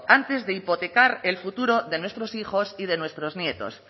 antes de hipotecar el futuro de nuestros hijos y de nuestros nietos